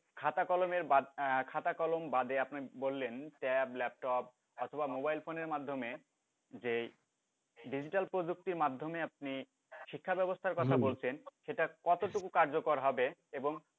খাতা কলমের বাদ আহ খাতা কলম বাদে আপনি বললেন tab laptop অথবা mobile ফোন্ এর মাধ্যমে যে ডিজিটাল প্রযুক্তির মাধ্যমে আপনি শিক্ষা ব্যাবস্থার কথা বলছেন সেটা কতটুকু কার্যকর হবে এবং